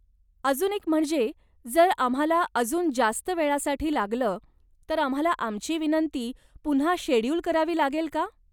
अजून एक म्हणजे, जर आम्हाला अजून जास्त वेळासाठी लागलं तर आम्हाला आमची विनंती पुन्हा शेड्यूल करावी लागेल का?